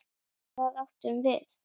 Hvað átum við?